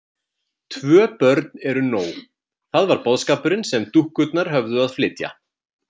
Tvö börn eru nóg: það var boðskapurinn sem dúkkurnar höfðu að flytja.